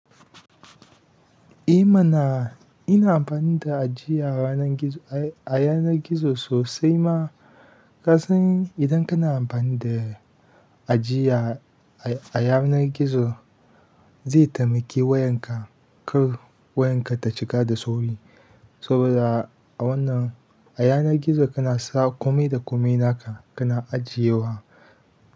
Eh mana, ina amfani da ajiya ranar gizo, a yanar gizo sosai ma. Ka san idan kana amfani da ajiya a yanar gizo, zai taimaki wayanka, kar wayanka ta cika da sauri. Saboda a wannan a yanar gizo kana sa kome da kome naka kana ajiyewa.